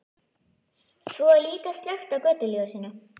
Svo er líka slökkt á götuljósinu.